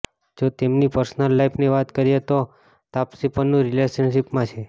જો તેમની પર્સનલ લાઈફની વાત કરીએ તો તાપસી પન્નૂ રિલેશનશિપમાં છે